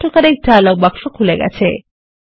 autocorrect dialogue বাক্সখুলে গেছে